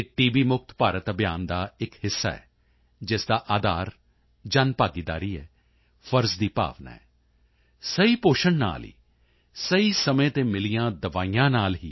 ਮੁਕਤ ਭਾਰਤ ਅਭਿਆਨ ਦਾ ਇੱਕ ਹਿੱਸਾ ਹੈ ਜਿਸ ਦਾ ਅਧਾਰ ਜਨਭਾਗੀਦਾਰੀ ਹੈ ਫ਼ਰਜ਼ ਦੀ ਭਾਵਨਾ ਹੈ ਸਹੀ ਪੋਸ਼ਣ ਨਾਲ ਹੀ ਸਹੀ ਸਮੇਂ ਤੇ ਮਿਲੀਆਂ ਦਵਾਈਆਂ ਨਾਲ ਟੀ